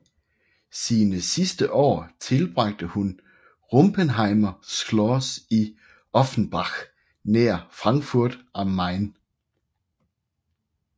Sine sidste år tilbragte hun på Rumpenheimer Schloss i Offenbach nær Frankfurt am Main